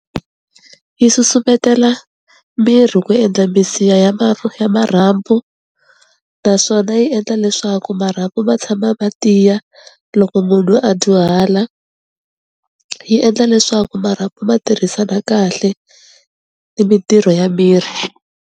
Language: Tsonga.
Yi susumetela miri ku endla misiha ya ma ya ya marhambu, naswona yi endla leswaku marhambu ma tshama ma tiya loko munhu loyi a dyuhala, yi endla leswaku marhambu ma tirhisana kahle ni mintirho ya miri.